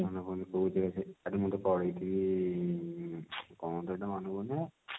ମୁ ତ ପଢିଥିବି କଣ ତ ସେଟା ମାନେ ପଡୁନି ହେ